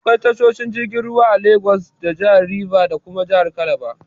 Akwai tashoshi jirgin ruwa a Lagos, jahar Rivers da kuma jahar Calabar